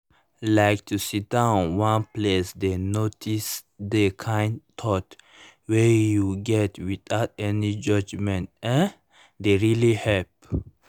like to sidon one place dey notice the kind thoughts wey you get without any judgement[um]dey really help